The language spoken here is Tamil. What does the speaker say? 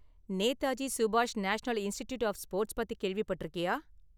நேதாஜி சுபாஷ் நேஷனல் இன்ஸ்டிடியூட் ஆஃப் ஸ்போர்ட்ஸ் பத்தி கேள்விப்பட்டிருக்கியா?